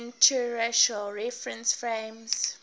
inertial reference frames